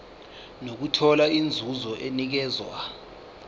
nokuthola inzuzo enikezwa